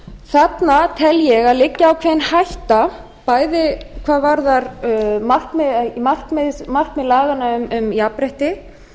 þarna tel ég að það liggi ákveðin hætta bæði hvað varðar markmið laganna um jafnrétti